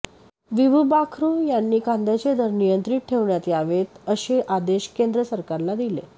विभू बाखरु यांनी कांद्याचे दर नियंत्रित ठेवण्यात यावेत असे आदेश केंद्र सरकारला दिले